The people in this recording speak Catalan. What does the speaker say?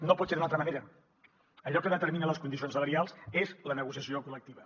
no pot ser d’una altra manera allò que determina les condicions salarials és la negociació col·lectiva